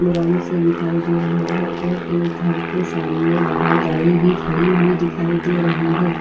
मुरम से दिखाई दे रहा है और एक घर के सामने बाहर गाड़ी भी खड़ी हुई दिखाई दे रही है।